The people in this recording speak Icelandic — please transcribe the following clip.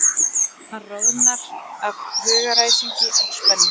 Hann roðnar af hugaræsingi og spennu.